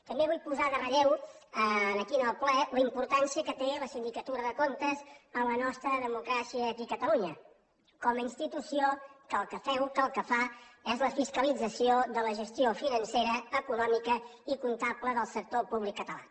també vull posar en relleu aquí en el ple la importància que té la sindicatura de comptes en la nostra democràcia aquí a catalunya com a institució que el que feu que el que fa és la fiscalització de la gestió financera econòmica i comptable del sector públic català